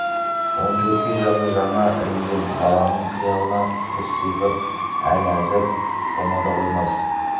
он төртке жасы жаңа ілінген баланың қиялына қыз сиқыр әл-әзір қона да қоймас